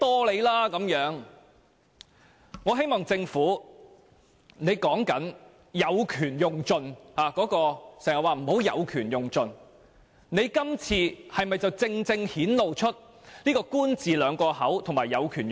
政府經常叫我們不要"有權用盡"，但政府今次的做法，不是正正顯露"官字兩個口"和"有權用盡"？